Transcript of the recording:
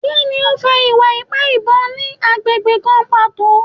Kini o fa iwa-ipa ibon ni agbegbe kan pato?